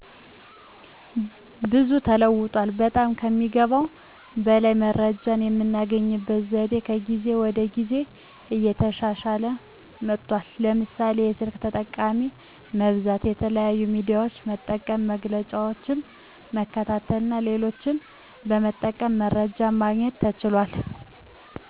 ብዙ ተለውጧል። በጠም ከሚገባው በላይ መረጃየምናገኝበት ዘዴ ከጊዜ ወደ ጊዜ እየተሻሻለ መጥቷል። ለምሳሌ፦ የስልክ ተጠቃሚ መብዛት፣ የተለያዩ ሚዲያዎች መጠቀም፣ መግለጫዎችን መከታተልና ሌሎችንም በመጠቀም መረጃ ማግኘት ተችሏል።